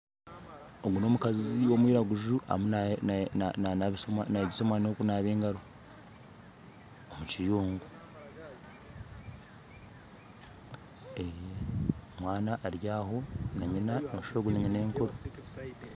Ogu nomukazi ow'omwiraguju ariyo nayegyesa omwana kunaaba engaro omukiyungu omwana aryaho nanyina nooshusha ogu ninyinenkuru